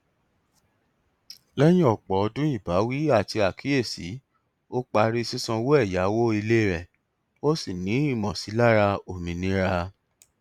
lẹyìn ọpọ ọdún ìbáwí àti àkíyèsí ó parí sísanwó ẹyáwó ilé rẹ ó sì ní ìmọsílára òmìnira